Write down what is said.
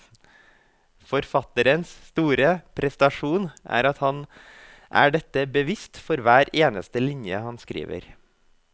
Forfatterens store prestasjon er at han er dette bevisst for hver eneste linje han skriver.